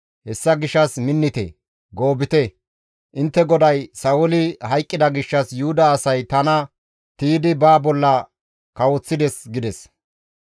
Hessa gishshas minnite; goobite; intte goday Sa7ooli hayqqida gishshas Yuhuda asay tana tiydi ba bolla kawoththides» gides.